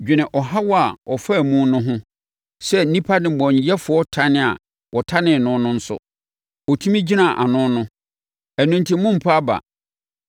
Dwene ɔhaw a ɔfaa mu no ho sɛ nnipa nnebɔneyɛfoɔ tan a wɔtanee no nso, ɔtumi gyinaa ano no. Ɛno enti mommpa aba.